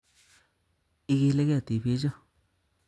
Ikilege tibichu